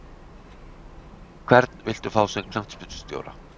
Hvern viltu fá sem knattspyrnustjóra?